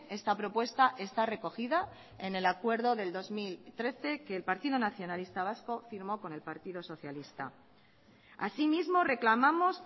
esta propuesta está recogida en el acuerdo del dos mil trece que el partido nacionalista vasco firmó con el partido socialista asimismo reclamamos